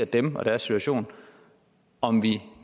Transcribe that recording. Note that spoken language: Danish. dem og deres situation om vi